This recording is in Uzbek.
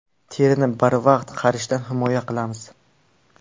Terini barvaqt qarishdan himoya qilamiz.